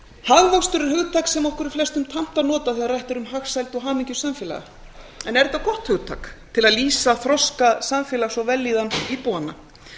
hagvöxtur er hugtak sem okkur er flestum tamt að nota þegar rætt er um hagsæld og hamingju samfélaga en er þetta gott hugtak til að lýsa þroska samfélags og vellíðan íbúanna